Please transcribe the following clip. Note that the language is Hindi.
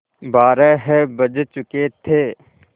बारह बज चुके थे